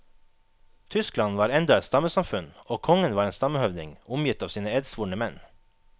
Tyskland var enda et stammesamfunn, og kongen var en stammehøvding, omgitt av sine edsvorne menn.